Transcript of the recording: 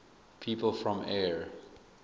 people from eure